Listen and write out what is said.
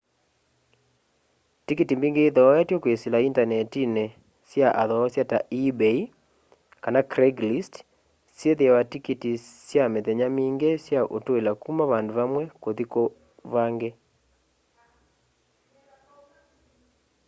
tikiti mbingi ithoetw'e kwisila indanetini sya athoosya ta ebay kana craiglist syithiawa tikiti sya mithenya mingi sya utwila kuna vandu vamwe kuthi vangi